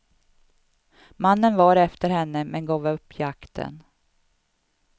Mannen var efter henne men gav upp jakten.